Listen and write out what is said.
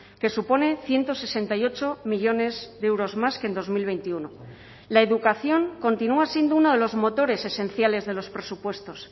que supone ciento sesenta y ocho millónes de euros más que en dos mil veintiuno la educación continúa siendo uno de los motores esenciales de los presupuestos